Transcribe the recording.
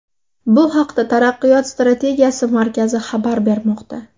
Bu haqda Taraqqiyot strategiyasi markazi xabar bermoqda .